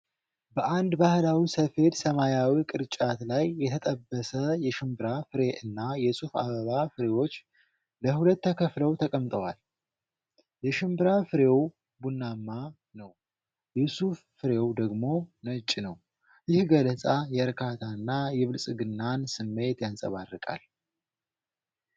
በአንድ ባህላዊ ሰፌድ ሰማያዊ ቅርጫት ላይ የተጠበሰ የሽምብራ ፍሬ እና የሱፍ አበባ ፍሬዎች ለሁለት ተከፍለው ተቀምጠዋል። የሽምብራ ፍሬው ቡናማ ነው፤ የሱፍ ፍሬው ደግሞ ነጭ ነው። ይህ ገለጻ የእርካታንና የብልጽግናን ስሜት ያንጸባርቃል።